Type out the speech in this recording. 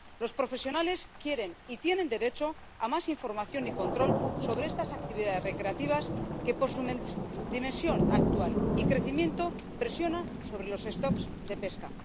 Los profesionales quieren y tienen derecho a más información y control sobre estas actividades recreativas que, por su dimensión actual y crecimiento, presionan sobre los stocks de pesca.